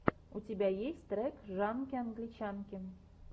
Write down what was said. у тебя есть трек жанки англичанки